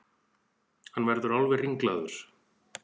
Hann verður alveg ringlaður.